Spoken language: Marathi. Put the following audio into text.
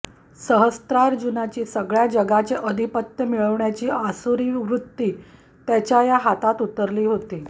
सहस्त्रार्जुनाची सगळ्या जगाचे अधिपत्य मिळवण्याची आसुरी वृत्ती त्याच्या या हातात उतरली होती